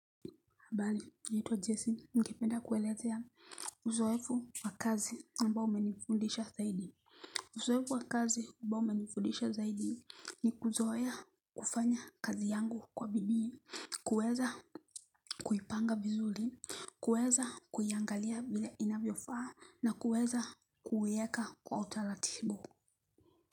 Habari, naitwa Jesse, ningependa kuelezea uzoefu wa kazi ambao umenifundisha zaidi. Uzoefu wa kazi ambao umenifundisha zaidi ni kuzoea kufanya kazi yangu kwa bidii, kuweza kuipanga vizuri, kuweza kuiangalia vile inavyofaa, nakuweza kuiweka kwa utaratibu.